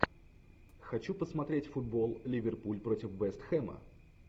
хочу посмотреть футбол ливерпуль против вест хэма